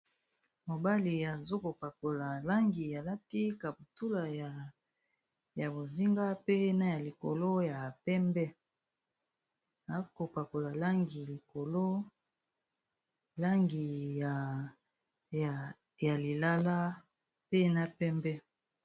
Mobali azokopakola langi alati kaputula ya bozinga, pe na ya likolo ya pembe azokopakola langi ya lilala pe na pembe.